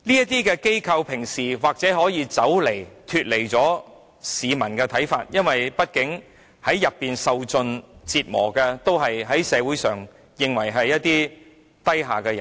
懲教署平日或許可以不理會市民的看法，因為畢竟在院所受盡折磨的都是在社會上被認為是低下的人。